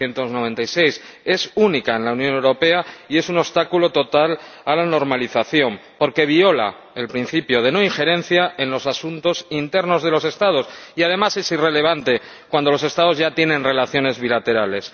1996. Es única en la Unión Europea y es un obstáculo total a la normalización, porque viola el principio de no injerencia en los asuntos internos de los Estados y además es irrelevante cuando los Estados ya tienen relaciones bilaterales.